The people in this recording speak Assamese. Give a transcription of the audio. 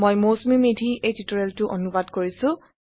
মই মৌচুমি মেধি এই টিউটোৰিয়েলটো অনুবাদ কৰিছো